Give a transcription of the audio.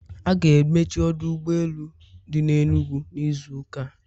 A ga-emechi ọdụ ụgbọ elu dị n'Enugwu n'izu ụka a